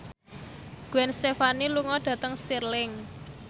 Gwen Stefani lunga dhateng Stirling